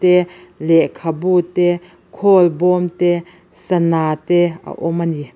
lehkhabu te khawlbawm te sanah te a awm a ni.